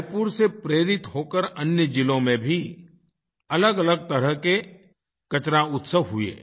रायपुर से प्रेरित होकर अन्य ज़िलों में भी अलगअलग तरह के कचरा उत्सव हुए